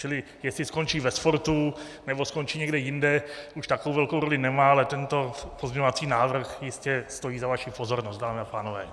Čili jestli skončí ve sportu, nebo skončí někde jinde, už takovou velkou roli nemá, ale tento pozměňovací návrh jistě stojí za vaši pozornost, dámy a pánové.